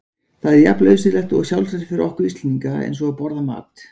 Það er jafn nauðsynlegt og sjálfsagt fyrir okkur Íslendinga eins og að borða mat.